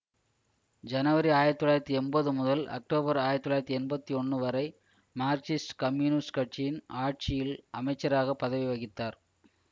ஜனவரி ஆயிரத்தி தொள்ளாயிரத்தி எம்பது முதல் அக்டோபர் ஆயிரத்தி தொள்ளாயிரத்தி எம்பத்தி ஒன்னு வரை மார்க்சிஸ்ட் கம்யூனிஸ்ட் கட்சியின் ஆட்சியில் அமைச்சராக பதவி வகித்தார்